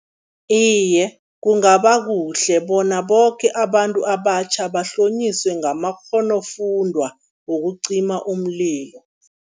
Iye, kungaba kuhle bona boke abantu abatjha bahlonyiswe ngamakghonofundwa wokucima umlilo.